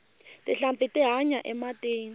tinhlampfi ti hanya ematini